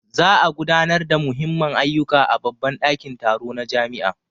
Za a gudanar da Muhimmman ayyuka a babban dakin taro na jami'a.